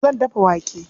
Zan dafa wake.